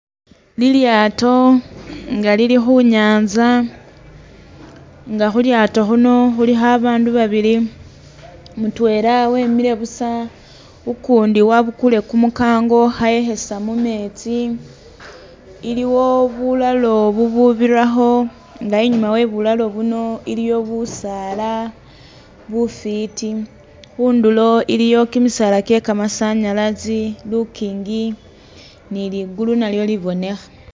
Lilyato nga lili khu'nyanza nga khulyato khuno khulikho bandu babili mutwela wemile buusa ukundi wabukule kumukango khayekhesa mumetsi, iliwo bulalo bububirakho nga inyuma we'bulalo buno iliyo busaala bufiti khundulo iliyo kimisaala kye'kamasanyalasi lukingi ni liggulu nalyo libonekha